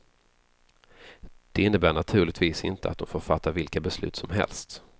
Det innebär naturligtvis inte att de får fatta vilka beslut som helst.